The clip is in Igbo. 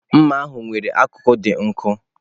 Mma ahu nwere akụkụ dị nkọ.